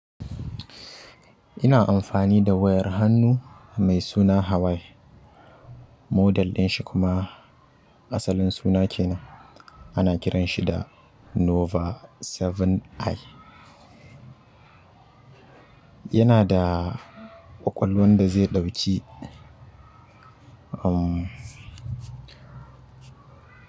Ina amfani da wayar hannu mai suna Hawaii. Model din shi kuma asalin suna kenan ana kiran shi da noba bakwai i yana da ƙwaƙwalwan da zai ɗauki, umm.